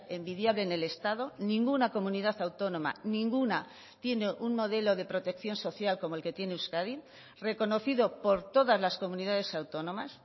envidiable en el estado ninguna comunidad autónoma ninguna tiene un modelo de protección social como el que tiene euskadi reconocido por todas las comunidades autónomas